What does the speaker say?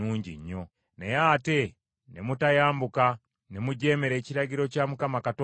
“Naye ate ne mutayambuka, ne mujeemera ekiragiro kya Mukama Katonda wammwe.